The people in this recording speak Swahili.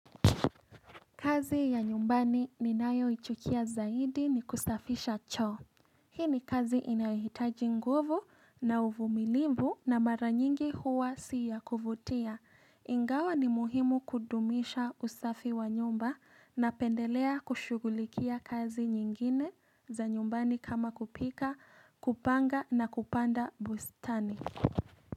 Kazi ya nyumbani ni nayoichukia zaidi ni kusafisha choo. Hii ni kazi inahitaji nguvu na uvumilivu na mara nyingi huwa siya kuvutia. Ingawa ni muhimu kudumisha usafi wa nyumba napendelea kushughulikia kazi nyingine za nyumbani kama kupika, kupanga na kupanda bustani.